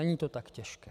Není to tak těžké.